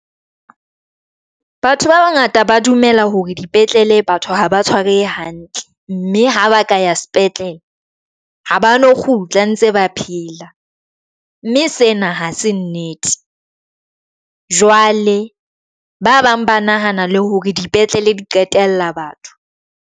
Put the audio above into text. Batho ba bangata ba dumela hore dipetlele batho haba tshwarwehe hantle mme ha ba ka ya sepetlele, ha ba no kgutla ntse ba phela mme sena ha se nnete jwale. Ba bang ba nahana le hore dipetlele di qetella batho.